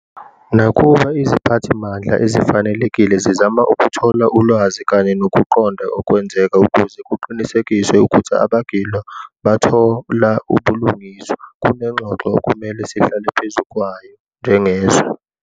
Nakuba iziphathimandla ezifanelekile zizama ukuthola ulwazi kanye nokuqonda okwenzeka ukuze kuqinisekiswe ukuthi abagilwa bathola ubulungiswa, kunengxoxo okumele sihlale phezu kwayo njengezwe.